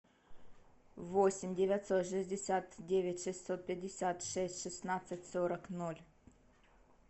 восемь девятьсот шестьдесят девять шестьсот пятьдесят шесть шестнадцать сорок ноль